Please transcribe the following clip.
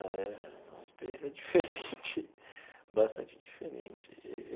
É uma experiência diferente, bastante diferente.